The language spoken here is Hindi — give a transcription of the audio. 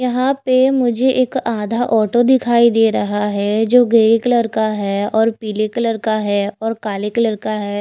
यहाँ पे मुझे एक आधा ऑटो दिखाई दे रहा है जो ग्रे कलर का है और पीले कलर का है और काले कलर का है।